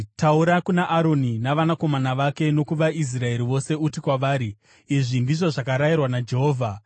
“Taura kuna Aroni navanakomana vake nokuvaIsraeri vose uti kwavari, ‘Izvi ndizvo zvakarayirwa naJehovha: